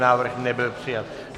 Návrh nebyl přijat.